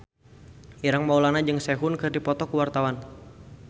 Ireng Maulana jeung Sehun keur dipoto ku wartawan